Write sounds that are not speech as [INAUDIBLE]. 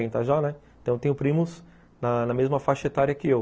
[UNINTELLIGIBLE] Então eu tenho primos na mesma faixa etária que eu.